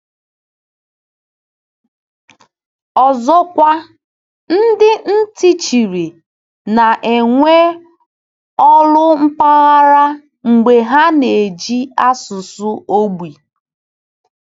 Ọzọkwa, ndị ntị chiri na-enwe olu mpaghara mgbe ha na-eji asụsụ ogbi.